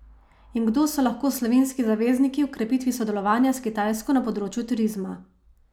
In kdo so lahko slovenski zavezniki v krepitvi sodelovanja s Kitajsko na področju turizma?